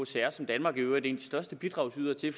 som danmark i øvrigt er en største bidragydere til